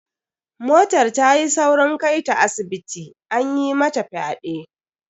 Motar ta yi saurin kai ta asibiti, an mata fyaɗe.